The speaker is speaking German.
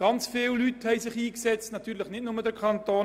Sehr viele Leute haben sich dafür eingesetzt.